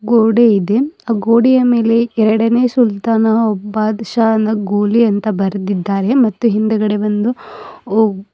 ಗೋಡೆ ಇದೆ ಅ ಗೋಡೆಯ ಮೇಲೆ ಎರಡನೇ ಸುಲ್ತಾನ ಬಾದಶಾ ಗೋಲಿ ಅಂತ ಬರೆದಿದ್ದಾರೆ ಮತ್ತು ಹಿಂದಗಡೆ ಬಂದು ಒ--